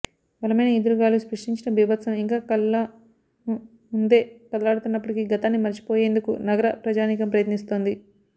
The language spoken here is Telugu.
బలమైన ఈదురుగాలులు సృష్టించిన బీభత్సం ఇంకా కళ్లము ముందే కదలాడుతున్నప్పటికీ గతాన్ని మర్చిపోయేందుకు నగర ప్రజానీకం ప్రయత్నిస్తోంది